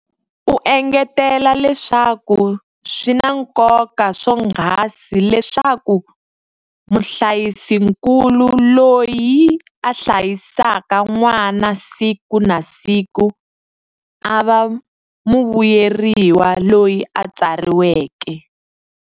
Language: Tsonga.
U engetela leswaku swi na nkoka swonghasi leswaku muhlayisinkulu, loyi a hlayisaka n'wana siku na siku, a va muvuyeriwa loyi a tsariweke.